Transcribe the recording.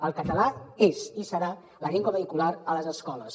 el català és i serà la llengua vehicular a les escoles